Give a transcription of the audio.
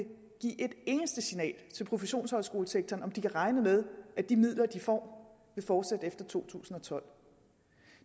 give et eneste signal til professionshøjskolesektoren om om de kan regne med at de midler de får vil fortsætte efter to tusind og tolv